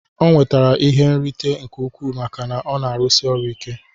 O nwetere ihe nrute nke ukwu maka na ọna arụsi ọrụ ike.